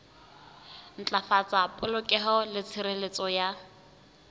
ntlafatsa polokeho le tshireletso ya